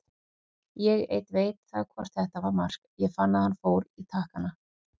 Ég einn veit það hvort þetta var mark, ég fann að hann fór í takkana.